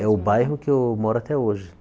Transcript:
É o bairro que eu moro até hoje.